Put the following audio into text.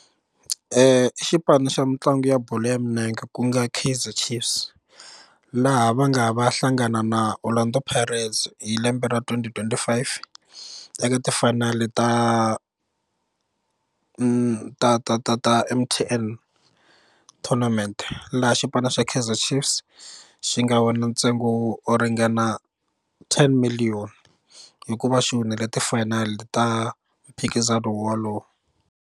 i xipano xa mitlangu ya bolo ya milenge ku nga Kaizer Chiefs laha va nga va hlangana na Orlando Pirates hi lembe ra twenty twenty-five eka tifayinali ta ta ta ta ta M_T_N tournament laha xipano xa Kaizer Chiefs xi nga wina ntsengo wo ringana ten million hikuva xi winile ti final ta mphikizano walowo.